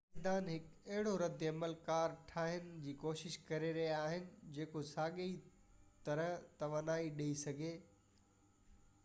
سائنسدان هڪ اهڙو رد عمل ڪار ٺاهڻ جي ڪوشش ڪري رهيا آهن جيڪو ساڳئي طرح توانائي ٺاهي سگهي